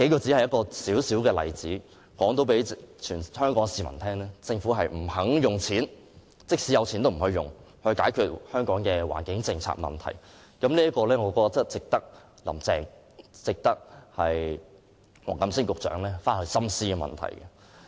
這數個微小的例子已可讓全香港市民知道，政府即使有錢，也不願意用來解決香港的環境問題，我認為這問題值得"林鄭"和黃錦星局長深思。